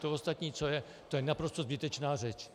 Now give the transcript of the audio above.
To ostatní, co je, to je naprosto zbytečná řeč.